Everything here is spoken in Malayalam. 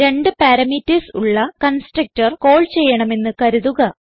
രണ്ട് പാരാമീറ്റർസ് ഉള്ള കൺസ്ട്രക്ടർ കാൾ ചെയ്യണമെന്ന് കരുതുക